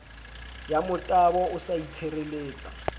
ya motabo o sa itshireletsa